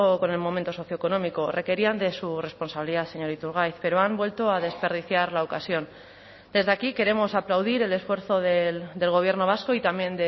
con el momento socioeconómico requerían de su responsabilidad señor iturgaiz pero han vuelto a desperdiciar la ocasión desde aquí queremos aplaudir el esfuerzo del gobierno vasco y también